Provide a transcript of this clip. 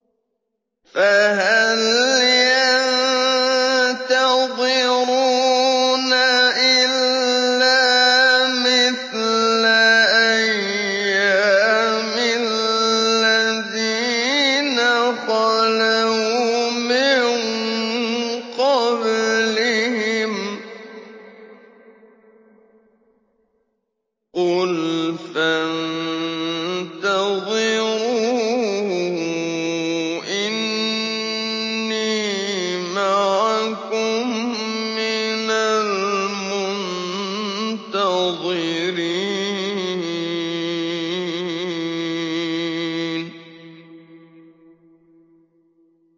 فَهَلْ يَنتَظِرُونَ إِلَّا مِثْلَ أَيَّامِ الَّذِينَ خَلَوْا مِن قَبْلِهِمْ ۚ قُلْ فَانتَظِرُوا إِنِّي مَعَكُم مِّنَ الْمُنتَظِرِينَ